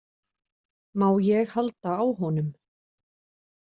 Má ég halda á honum?